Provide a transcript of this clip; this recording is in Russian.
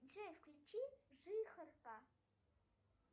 джой включи жихарка